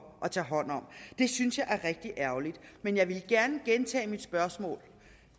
at tage hånd om det synes jeg er rigtig ærgerligt men jeg vil gerne gentage mit spørgsmål